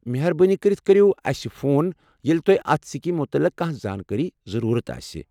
مہربٲنی کٔرتھ کٔریو اسہِ فون ییٚلہ تۄہہ اتھ سکیٖمہِ متعلق کانٛہہ زانٛکٲری ضروٗرت آسہِ ۔